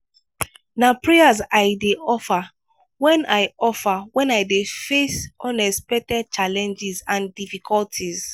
na prayers i dey offer when i offer when i dey face unexpected challenges and difficulties.